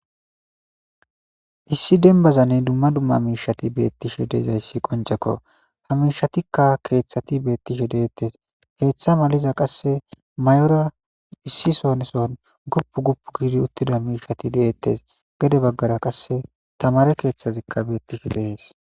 Issi denbazanne dumma dumma miishati beettishe deezayssi qoncekko. Ha miishatikka keeththati beettishe deettes. Keeththa maliza qasse mayora issi sonson guppu guppu giidi uttida miishati deettes. Gede baggara qasse tamare keeththazikka beettishe dees.